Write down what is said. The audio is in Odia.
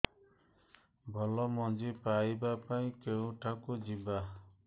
ଭଲ ମଞ୍ଜି ପାଇବା ପାଇଁ କେଉଁଠାକୁ ଯିବା